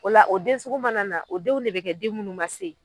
O la o den sugu mana na o denw de be kɛ den munnu ma se.